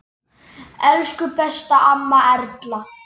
Elsku besta amma Erla.